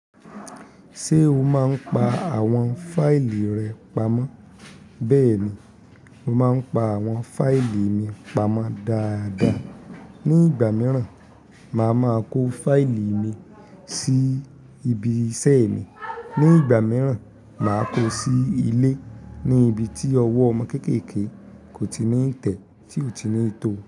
Ṣé o máa ń pa àwọn fáìlì rẹ pamọ́? Bẹ́ẹ̀ ni, mo máa ń pa àwọn fáìlì mi pamọ́ dáadáa. Ni ìgbà mìíràn, màá máa kó fáìlì mi sí ibi iṣẹ́ mi, ní ìgbà mìíràn, màá kó o sí ilé ní ibi tí ọwọ́ ọmọ kéékèèké kò tí ì ní tẹ́ tí ò tí ì ní tó.